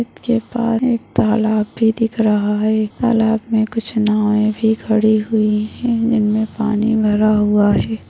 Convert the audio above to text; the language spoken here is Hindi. इतके पास एक तालाब भी दिख रहा है तालाब मे कुछ नावें भी खड़ी हुई है जिनमें पानी भरा हुआ है।